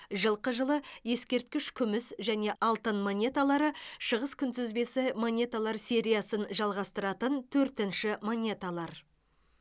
жылқы жылы ескерткіш күміс және алтын монеталары шығыс күнтізбесі монеталар сериясын жалғастыратын төртінші монеталар